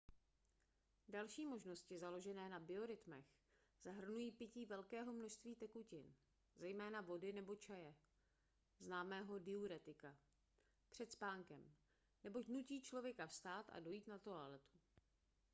další možnosti založené na biorytmech zahrnují pití velkého množství tekutin zejména vody nebo čaje známého diuretika před spánkem neboť nutí člověka vstát a dojít na toaletu